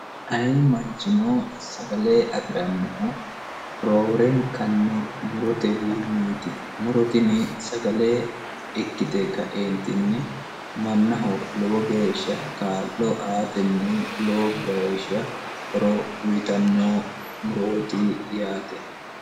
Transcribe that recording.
ayi manchino sagale afi'rannohu roorenkanni murotewiinniiti murotini sagale ikkite ka''eentinni mannaho lowo geeshsha kaa'lo aatenni lowo gaeshsha horo uyitanno murooti yaate